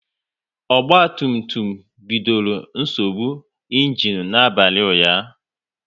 Ogba tum tum bidoro nsogbu ịnginu n'abalị ụnyaahụ